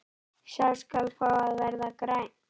Sá skal fá að verða grænn!